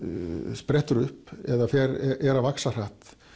sprettur upp eða er að vaxa hratt